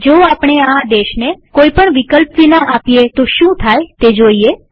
જો આપણે આ આદેશને કોઈ પણ વિકલ્પ વિના આપીએ તો શું થાય તે જોઈએ